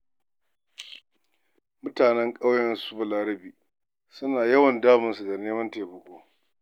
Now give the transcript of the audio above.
Mutanen ƙauyen su Balarabe suna yawan damun sa da neman taimako.